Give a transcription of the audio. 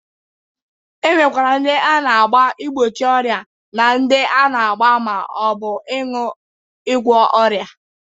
E nwekwara ndị a na-agba igbochi ọrịa na ndị a na-agba ma ọ bụ ṅụ ịgwọ ọrịa.